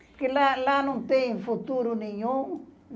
Porque lá lá não tem futuro nenhum.